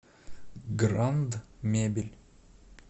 гранд мебель